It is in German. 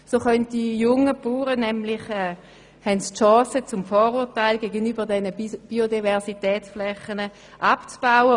So haben die jungen Bauern die Chance, ihre Vorurteile gegenüber den Biodiversitätsflächen abzubauen.